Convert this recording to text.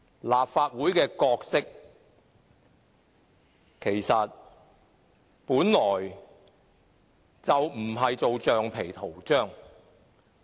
立法會的角色本來就不是當橡皮圖章。